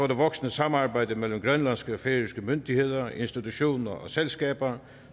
det voksende samarbejde mellem grønlandske og færøske myndigheder institutioner og selskaber